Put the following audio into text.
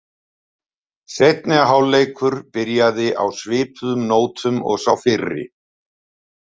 Seinni hálfleikur byrjaði á svipuðu nótum og sá fyrri.